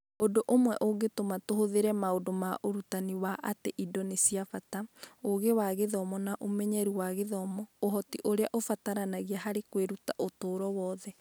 Ũndũ ũmwe ũngĩtũma tũhũthĩre maũndũ ma ũrutani wa atĩ indo nĩ cia bata, Ũũgĩ wa gĩthomo na ũmenyeru wa gĩthomo ũhoti ũrĩa ũbataranagia harĩ kwĩruta ũtũũro wothe.